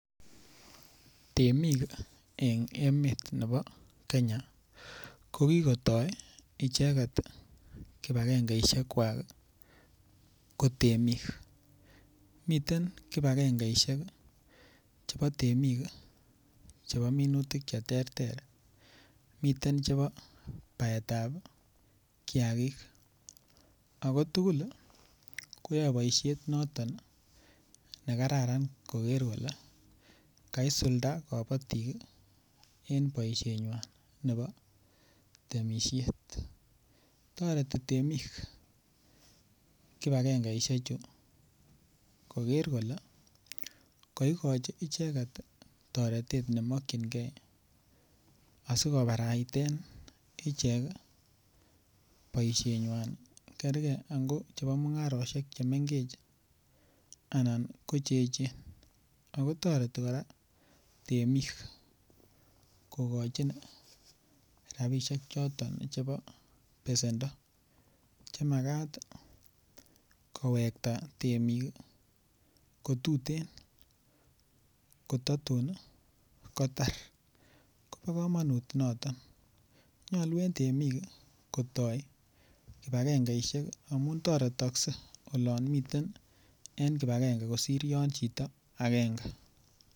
Temik en emet nebo Kenya ko kigotoi icheget kipagenge ishek kwak ko temik. Miten kipagengeishek chebo temik chebominutik che terter miten chebo baetab kiyagik ago tugul koyae boisiet noton ne kararan koger kole kaisulda kobotik en boisenywan nebo temisiet. Toreti temik kipagengeisheju koger kole koigochi icheget toretet nemokinge asikobaraiten ichek boisienywan. Kerge ango kamung'arosiekwak che mengechen anan ko che eechen ago toreti kora temik kogochin rabishek choton chebo besendo, chemagat kowekta temik kotuten kototun kotar kobo komonut noton. Nyolu en temik kotoi kipagengeishek amun toretokse olon miten en kipagenge kosir yon chito agenge.